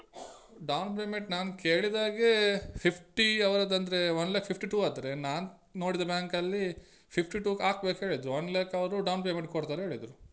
Down payment ನಾನ್ ಕೇಳಿದ ಹಾಗೆ fifty ಅವರದಂದ್ರೆ one lakh fifty two ಆದ್ರೆ ನಾನ್ ನೋಡಿದ bank ಅಲ್ಲಿ fifty two ಹಾಕ್ಬೇಕ್ಹೆಳಿದ್ರು one lakh ಅವ್ರು down payment ಕೊಡ್ತಾರೆ ಹೇಳಿದ್ರು.